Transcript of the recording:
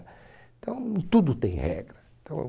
Então, tudo tem regra. Então